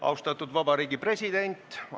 Austatud Vabariigi President!